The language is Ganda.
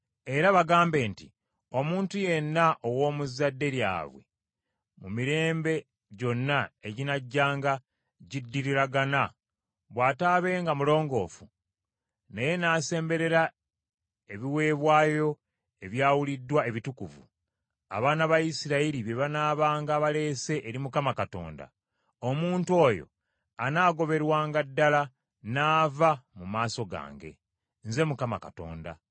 Era bagambe nti, Omuntu yenna ow’omu zadde lyabwe mu mirembe gyonna eginajjanga giddiriragana bw’ataabenga mulongoofu, naye n’asemberera ebiweebwayo ebyawuliddwa ebitukuvu, abaana ba Isirayiri bye banaabanga baleese eri Mukama Katonda, omuntu oyo anaagoberwanga ddala n’ava mu maaso gange. Nze Mukama Katonda.